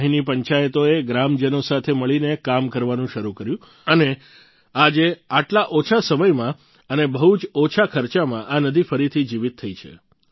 અહીંની પંચાયતોએ ગ્રામજનો સાથે મળીને કામ કરવાનું શરૂ કર્યું અને આજે આટલા ઓછા સમયમાં અને બહુ જ ઓછા ખર્ચામાં આ નદી ફરીથી જીવીત થઈ ગઈ છે